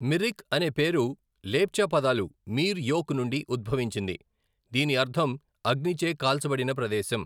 మిరిక్ అనే పేరు లెప్చా పదాలు మీర్ యోక్ నుండి ఉద్భవించింది, దీని అర్థం 'అగ్నిచే కాల్చబడిన ప్రదేశం'.